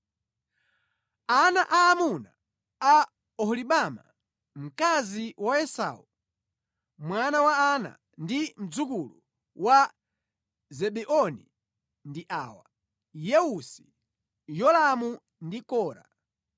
Ana aamuna a Oholibama, mkazi wa Esau, mwana wa Ana ndi mdzukulu wa Zebeoni ndi awa: Yeusi, Yolamu ndi Kora.